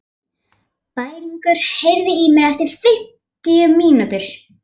Bæringur, heyrðu í mér eftir fimmtíu mínútur.